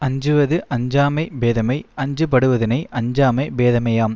அஞ்சுவது அஞ்சாமை பேதைமை அஞ்சப்படுவதனை அஞ்சாமை பேதைமையாம்